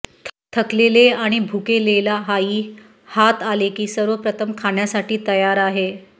थकलेले आणि भुकेलेला आई हात आले की सर्वप्रथम खाण्यासाठी तयार आहे